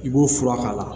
I b'o fura k'a la